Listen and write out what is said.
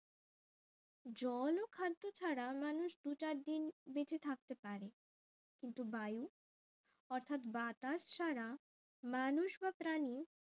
জল ও খাদ্য ছাড়া মানুষ দু চার দিন বেঁচে থাকতে পারে কিন্তু বায়ু অর্থাৎ বাতাস ছাড়া মানুষ বা প্রাণী